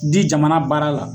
Di jamana baara la